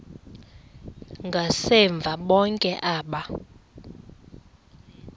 ngasemva bonke aba